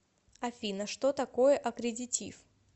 афина что такое аккредитив